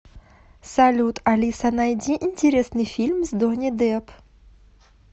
салют алиса найди интересный фильм с донни депп